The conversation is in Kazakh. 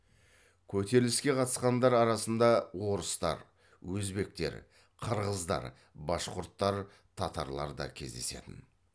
көтеріліске қатысқандар арасында орыстар өзбектер қырғыздар башқұрттар татарлар да кездесетін